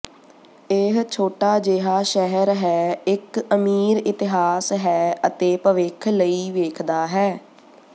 ਇਹ ਛੋਟਾ ਜਿਹਾ ਸ਼ਹਿਰ ਹੈ ਇੱਕ ਅਮੀਰ ਇਤਿਹਾਸ ਹੈ ਅਤੇ ਭਵਿੱਖ ਲਈ ਵੇਖਦਾ ਹੈ